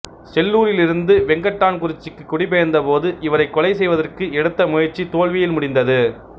செல்லூரிலிருந்து வெங்கட்டான் குறிச்சிக்கு குடிபெயர்ந்த போது இவரை கொலை செய்வதற்கு எடுத்த முயற்சி தோல்வியில் முடிந்தது